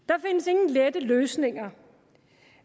af der løsninger